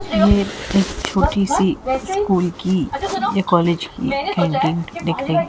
ये एक छोटी सी स्कूल की या कॉलेज की पेंटिंग दिख रही--